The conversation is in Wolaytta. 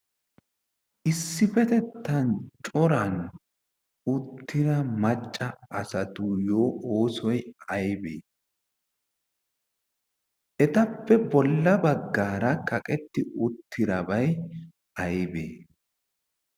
issippetettan coran uttida macca asatuyyo oosoi aibee? etappe bolla baggaara kaqetti uttirabai aibee?